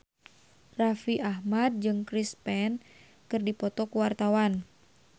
Raffi Ahmad jeung Chris Pane keur dipoto ku wartawan